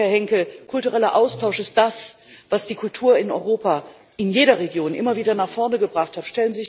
Und Herr Henkel, kultureller Austausch ist das, was die Kultur in Europa, in jeder Region, immer wieder nach vorne gebracht hat.